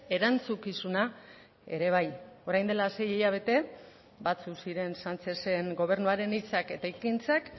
erantzukizuna ere bai orain dela sei hilabete batzuk ziren sánchezen gobernuaren hitzak eta ekintzak